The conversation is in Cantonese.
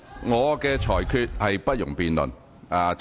我的裁決不容辯論。